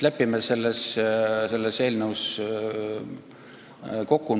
Lepime selles eelnõus kokku.